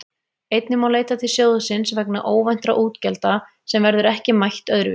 Einnig má leita til sjóðsins vegna óvæntra útgjalda sem verður ekki mætt öðru vísi.